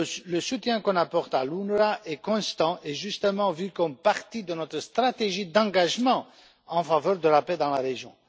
Le soutien qu'on apporte à l'UNRWA est constant et justement vu comme une partie de notre stratégie d'engagement en faveur de la paix dans la région.